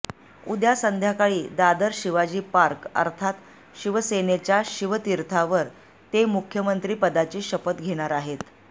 उद्या संध्याकाळी दादर शिवाजी पार्क अर्थात शिवसेनेच्या शिवतीर्थावर ते मुख्यमंत्री पदाची शपथ घेणार आहेत